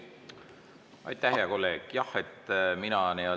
Aitäh, hea kolleeg!